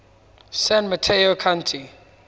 san mateo county